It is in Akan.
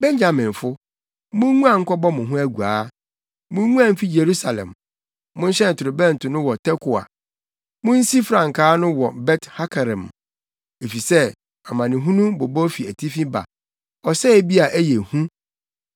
“Benyaminfo, munguan nkɔbɔ mo ho aguaa! Munguan mfi Yerusalem! Monhyɛn torobɛnto no wɔ Tekoa! Munsi frankaa no wɔ Bet-Hakerem! Efisɛ amanehunu bobɔw fi atifi fam, ɔsɛe bi a ɛyɛ hu.